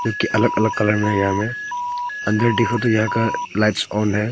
अलग अलग कलर में यहां में अंदर देखो तो यहां का लाइट्स ऑन है।